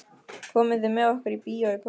Komið þið með okkur í bíó í kvöld?